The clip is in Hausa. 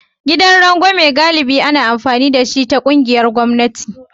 Gidan rangwame galibi ana amfani da shi ta ƙungiyar gwamnati